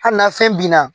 Hali na fɛn bin na